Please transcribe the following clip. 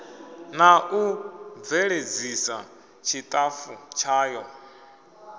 na u bveledzisa tshitafu tshayo